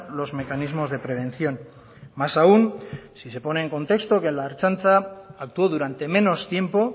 los mecanismos de prevención más aún si se pone en contexto que la ertzaintza actuó durante menos tiempo